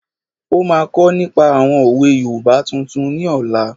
Ó máa kọ́ nípa àwọn òwe yoòbá tuntun ní ọ̀la